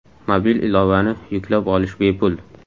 Mobil ilovani yuklab olish bepul.